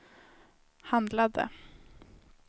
handlade